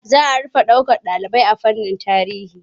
Za rufe ɗaukar ɗalibai a fannin tarihi.